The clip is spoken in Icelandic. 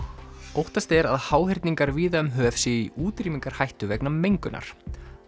óttast er að háhyrningar víða um höf séu í útrýmingarhættu vegna mengunar